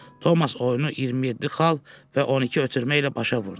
Tomas oyunu 27 xal və 12 ötürmə ilə başa vurdu.